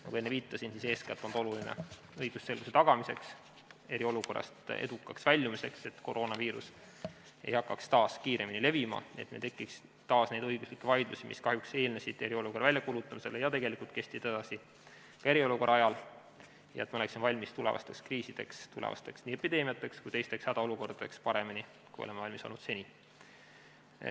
Nagu ma enne viitasin, eeskätt on see oluline õigusselguse tagamiseks, eriolukorrast edukaks väljumiseks, et koroonaviirus ei hakkaks taas kiiremini levima, et meil ei tekiks taas neid õiguslikke vaidlusi, mis kahjuks eelnesid eriolukorra väljakuulutamisele ja tegelikult kestsid edasi ka eriolukorra ajal, ja me oleksime valmis tulevasteks kriisideks – nii epideemiateks kui ka teisteks hädaolukordadeks – paremini, kui oleme valmis olnud seni.